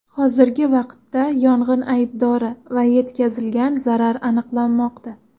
Hozirgi vaqtda yong‘in aybdori va yetkazilgan zarar aniqlanmoqda.